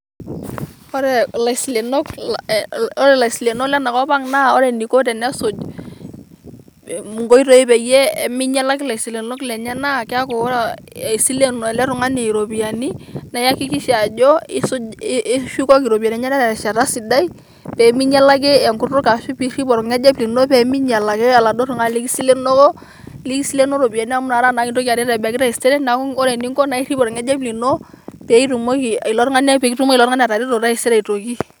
ore laisilenok lenakop lang naa wore eniko enisuj nkoitoi peyie minyalaki laisilenok naa keaku wore isilen ele ropiyiani naa aikikisha ajo ishukoki ropiyiani enyenak terishata sidai peminyalaki enkutuk arashu piiirip olngejep lino pemiyalaki oladuoo tungani likiselenoko amu nakata naa kintoki aisienoki tasiere neaku wore eniko naa pirip olngejep lino pekitumoki atareto taisere aitoki